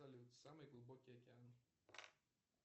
салют самый глубокий океан